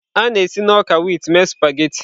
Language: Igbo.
A na-esi na ọka wit mee spaghetị.